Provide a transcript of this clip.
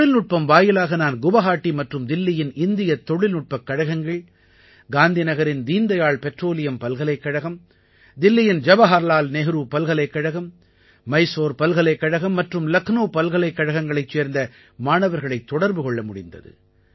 தொழில்நுட்பம் வாயிலாக நான் குவாஹாட்டி மற்றும் தில்லியின் இந்தியத் தொழில்நுட்பக் கழகங்கள் காந்திநகரின் தீன் தயாள் பெட்ரோலியம் பல்கலைக்கழகம் தில்லியின் ஜவஹர்லால் நேரு பல்கலைக்கழகம் மைசூர் பல்கலைக்கழகம் மற்றும் லக்னௌ பல்கலைக்கழங்களைச் சேர்ந்த மாணவர்களைத் தொடர்பு கொள்ள முடிந்தது